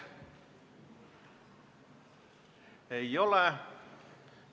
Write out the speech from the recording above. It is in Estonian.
Ei ole.